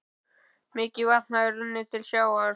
Mikið vatn hafði runnið til sjávar.